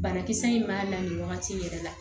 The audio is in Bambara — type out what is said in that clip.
Banakisɛ in b'a la nin wagati in yɛrɛ la